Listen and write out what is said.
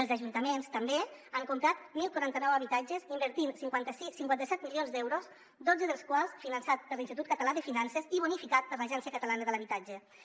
els ajuntaments també han comprat deu quaranta nou habitatges invertint cinquanta set milions d’euros dotze dels quals finançats per l’institut català de finances i bonificat per l’agència de l’habitatge de catalunya